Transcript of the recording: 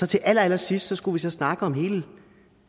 til allerallersidst skulle vi så snakke om hele